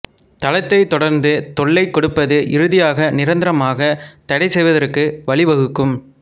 தளத்தைத் தொடர்ந்து தொல்லை கொடுப்பது இறுதியாக நிரந்தரமாக தடைசெய்வதற்கு வழிவகுக்கும்